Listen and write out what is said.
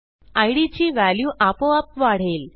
इद ची व्हॅल्यू आपोआप वाढेल